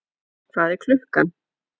Hvað er klukkan?